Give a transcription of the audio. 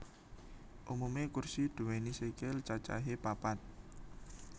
Umumé kursi nduwéni sikil cacahé papat